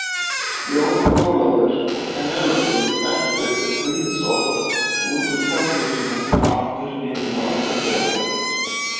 Jón Ólafur og Penélope eltu Toshizo út úr kaffihúsinu og aftur inn á lestarstöðina.